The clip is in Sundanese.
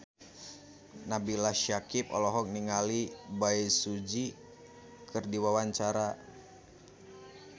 Nabila Syakieb olohok ningali Bae Su Ji keur diwawancara